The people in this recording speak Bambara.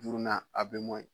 Duurunan